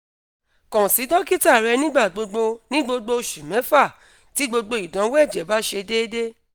kan si dokita rẹ nigbagbogbo (ni gbogbo oṣu mẹfa) ti gbogbo idanwo ẹjẹ ba ṣe deede